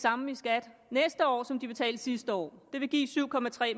samme i skat næste år som de betalte sidste år det vil give syv